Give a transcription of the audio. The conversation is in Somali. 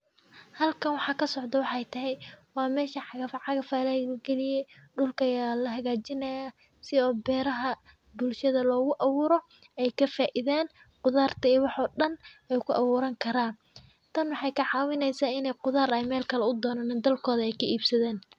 Halkan wxa kasocdo wxay tehe wamesha cagafcagaf lagaliye, dulka aya lahagajinahaya si o beraha bulshada lo gu awuro ay kafaidan qudarta iyo wax o dan, ay ku aburan karan, tan wxay kacawineysa inay qudar ay melkale u donanin dalkoda ay kaibsadan.